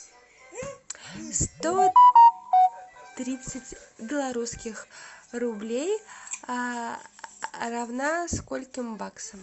сто тридцать белорусских рублей равна скольким баксам